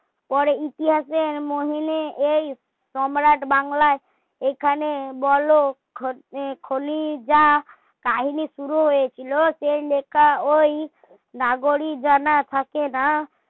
পরে ইতিহাসের মননে এই সম্রাট বাংলার এখানে বলো খোলি যা কাহিনী শুরু হয়েছিল সেই লেখা ওই নাগরী জানা থাকে না